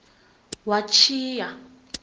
watjhiya